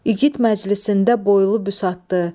İgid məclisində boylu büsatdı.